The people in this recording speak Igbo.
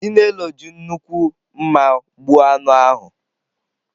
Chinelo ji nnukwu mma gbuo anụ ahụ.